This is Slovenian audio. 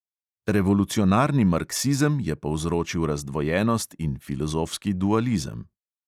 Revolucionarni marksizem je povzročil razdvojenost in filozofski dualizem.